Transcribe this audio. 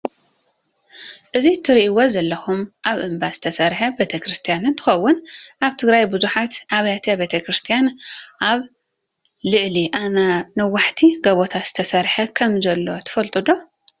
እዚ እትሪእዎ ዘለኹም ኣብ እምባ ዝተሰርሓ ቤተ ክርስቲያን እንትኸውን ኣብ ትግራይ ብዙሓት ኣብያተ ክርስትያን ኣብ ልዕሊ ነዋሕቲ ጎቦታት ዝተሰርሐ ከም ዘለው ትፈልጡ ዶ?